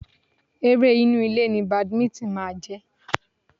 Eré inú ilé ni Badminton máa jẹ́.